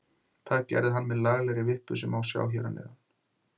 Það gerði hann með laglegri vippu sem má sjá hér að neðan.